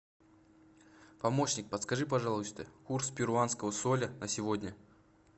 помощник подскажи пожалуйста курс перуанского соля на сегодня